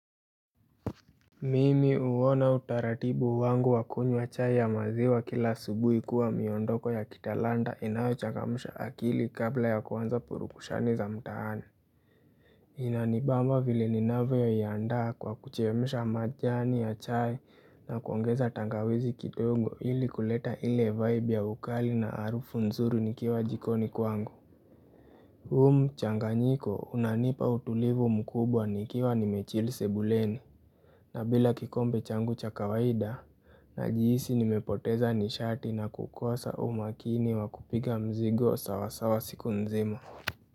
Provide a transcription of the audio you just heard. Mimi uwona utaratibu wangu wa kunywa chai ya maziwa kila asubuhi kuwa miondoko ya kitalanda inayochangamsha akili kabla ya kuanza purukushani za mtaani. Inanibamba vile ninavyoiandaa kwa kuchemsha majani, ya chai na kuongeza tangawizi kitongo ili kuleta ile vibe ya ukali na arufu nzuru nikiwa jikoni kwangu. Huu mchanganyiko, unanipa utulivu mkubwa nikiwa nimechill sebuleni. Na bila kikombe changu cha kawaida, najihisi nimepoteza nishati na kukosa umakini wa kupiga mzigo sawasawa siku nzima.